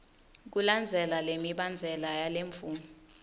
kulandzela lemibandzela yalemvumo